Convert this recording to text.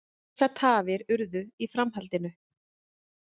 Miklar tafir urðu í framhaldinu